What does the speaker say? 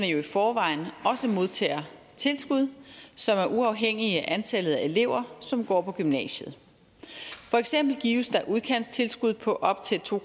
jo i forvejen også modtager tilskud som er uafhængige af antallet af elever som går på gymnasiet for eksempel gives der udkantstilskud på op til to